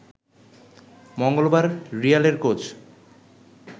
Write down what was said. মঙ্গলবার রিয়ালের কোচ